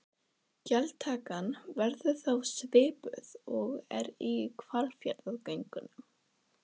Þorbjörn Þórðarson: Gjaldtakan verður þá svipuð og er í Hvalfjarðargöngum?